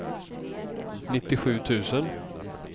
nittiosju tusen